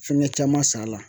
Fɛngɛ caman san a la